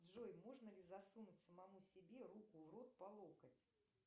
джой можно ли засунуть самому себе руку в рот по локоть